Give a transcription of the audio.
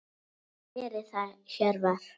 Hvað gerir það Hjörvar?